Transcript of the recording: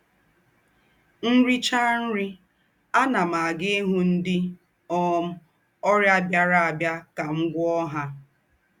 M rìchàa nrí, ànà m àgá hụ́ ńdị́ um ọ́rịà bìarà bìarà kà m gwúọ̀ọ́ ha.